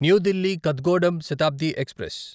new Delhi Kathgodam Shatabdi express